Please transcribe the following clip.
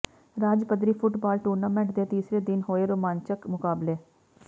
ਰਾਜ ਪੱਧਰੀ football tournament ਦੇ ਤੀਸਰੇ ਦਿਨ ਹੋਏ ਰੋਮਾਂਚਕ ਮੁਕਾਬਲੇ